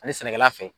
Ani sɛnɛkɛla fɛ